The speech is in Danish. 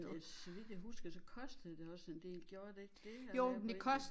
Øh så vidt jeg husker så kostede det også en del gjorde det ikke det at være på nettet?